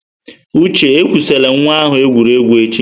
Uche, ekwusila nwa ahụ egwuregwu echi!